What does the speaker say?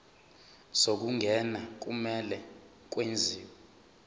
zokungena kumele kwenziwe